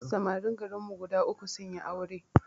Samarin garin mu guda uku sunyi aure